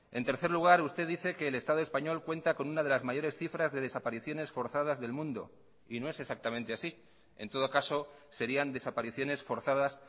en tercer lugar usted dice que el estado español cuenta con una de las mayores cifras de desapariciones forzadas del mundo y no es exactamente así en todo caso serían desapariciones forzadas